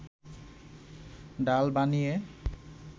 ডাল বানিয়ে